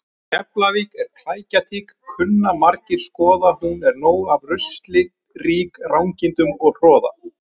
Keflavík er klækjatík kunna margir skoða hún er nóg af rusli rík rangindum og hroða.